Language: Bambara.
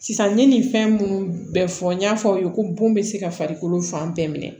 Sisan n ye nin fɛn minnu bɛɛ fɔ n y'a fɔ aw ye ko bon bɛ se ka farikolo fan bɛɛ minɛ